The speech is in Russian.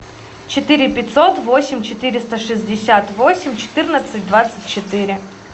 четыре пятьсот восемь четыреста шестьдесят восемь четырнадцать двадцать четыре